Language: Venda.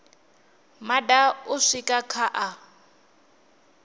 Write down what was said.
maṋa u swika kha a